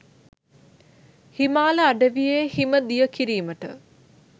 හිමාල අඩවියේ හිම දිය කිරීමට